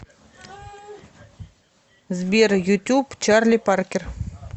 сбер ютюб чарли паркер